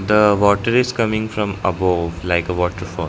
The water is coming from above like a waterfall.